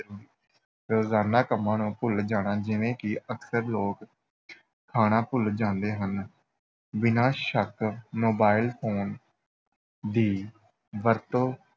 ਰੋਜ਼ਾਨਾ ਕੰਮਾਂ ਨੂੰ ਭੁੱਲ ਜਾਣਾ, ਜਿਵੇਂ ਕਿ ਅਕਸਰ ਲੋਕ ਖਾਣਾ ਭੁੱਲ ਜਾਂਦੇ ਹਨ, ਬਿਨਾਂ ਸ਼ੱਕ mobile phone ਦੀ ਵਰਤੋਂ